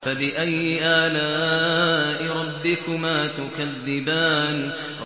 فَبِأَيِّ آلَاءِ رَبِّكُمَا تُكَذِّبَانِ